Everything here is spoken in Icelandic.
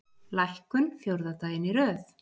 Lækkun fjórða daginn í röð